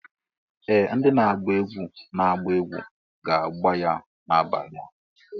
Ee! Ndị na-agba egwu na-agba egwu ga-agbà ya n'abalị a.